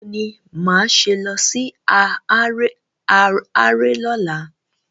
Báwo ni máa ṣe lọ sí haráré lọ́la?